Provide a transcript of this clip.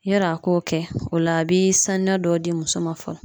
Yarɔ a k'o kɛ o la a bi sanuya dɔ di muso ma fɔlɔ